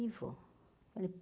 E vou.